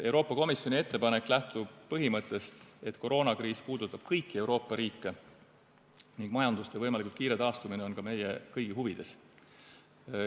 Euroopa Komisjoni ettepanek lähtub põhimõttest, et koroonakriis puudutab kõiki Euroopa riike ning majanduste võimalikult kiire taastumine on ka meie kõigi huvides.